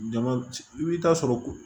Jama i bɛ taa sɔrɔ ko